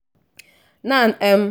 nan um